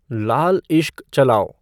लाल इश्क़' चलाओ